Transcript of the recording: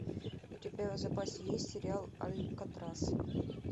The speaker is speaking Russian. у тебя в запасе есть сериал алькатрас